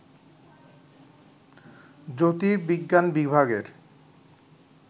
জ্যোতির্বিজ্ঞান বিভাগের